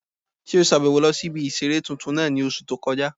Ṣé o sàbẹ̀wo lọ sí ibi ìseré tuntun náà ní oṣù tó kọjá?